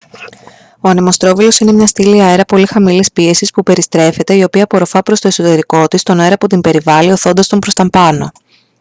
ο ανεμοστρόβιλος είναι μια στήλη αέρα πολύ χαμηλής πίεσης που περιστρέφεται η οποία απορροφά προς το εσωτερικό της τον αέρα που την περιβάλλει ωθώντας τον προς τα επάνω